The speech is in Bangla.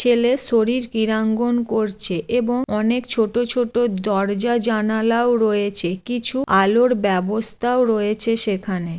ছেলে শরীর ক্রীড়াঙ্গন করছে এবং অনেক ছোট ছোট দরজা জানালাও রয়েছে। কিছু আলোর ব্যবস্থাও রয়েছে সেখানে।